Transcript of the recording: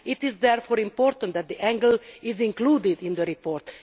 It is therefore important that the angle is included in the report.